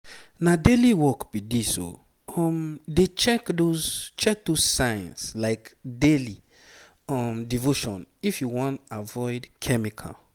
na daily work be this o. um dey check those check those signs like daily um devotion if you wan avoid chemical.